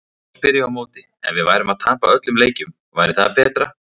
Þá spyr ég á móti, ef við værum að tapa öllum leikjunum, væri það betra?